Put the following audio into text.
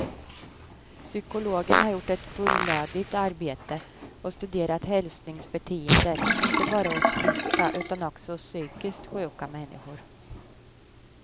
Psykologen har gjort ett fullödigt arbete och studerat hälsningsbeteendet inte bara hos friska utan också hos psykiskt sjuka människor.